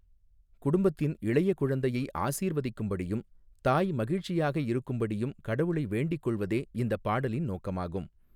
குடும்பத்தின் இளைய குழந்தையை ஆசிர்வதிக்கும்படியும், தாய் மகிழ்ச்சியாக இருக்கும்படியும் கடவுளை வேண்டிக் கொள்வதே இந்தப் பாடலின் நோக்கமாகும்.